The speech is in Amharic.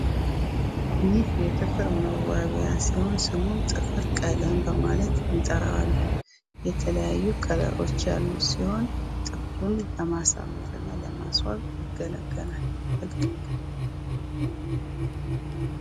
የጥፍር መዋቢያ ሲሆን ስሙ ጥፍር ቀለም በመባል እንጠራዋለን የተለያዩ ቀለሞች ያሉት ሲሆን ጥፍርን ለማሳመርና ለማስዋ ያገለግላል።